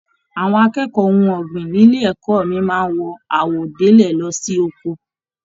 Àwọn akẹ́kọ̀ọ́ ohùn ọgbin nílé ẹ̀kọ́ mí máa n wọ àwọ̀délẹ̀ lọ sí oko.